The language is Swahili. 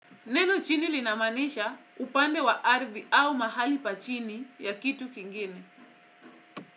Neno chini linamaanisha upande wa ardhi au mahali pa chini ya kitu kingine.